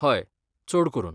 हय, चड करून.